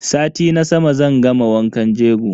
Sati na sama zan gama wankan jego.